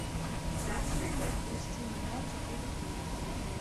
включи мне впусти меня четыре кей